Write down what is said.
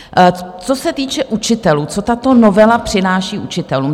Co se týče učitelů, co tato novela přináší učitelům.